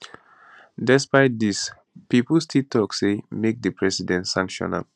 despite dis pipo still tok say make di president sanction am